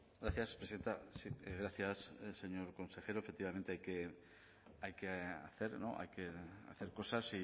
gracias presidenta gracias señor consejero efectivamente hay que hacer cosas